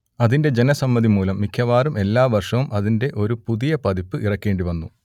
അതിന്റെ ജനസമ്മതിമൂലം മിക്കവാറും എല്ലാവർഷവും അതിന്റെ ഒരു പുതിയപതിപ്പ് ഇറക്കേണ്ടിവന്നു